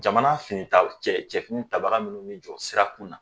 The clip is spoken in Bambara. Jamana fini ta cɛ cɛfini tabaga minnu bɛ jɔ sira kun na